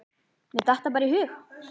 Mér datt það bara í hug.